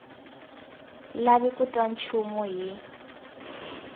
lavi ku twa nchumu hi